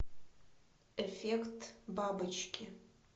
эффект бабочки